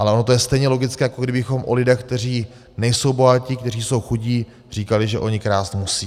Ale ono to je stejně logické, jako kdybychom o lidech, kteří nejsou bohatí, kteří jsou chudí, říkali, že oni krást musí.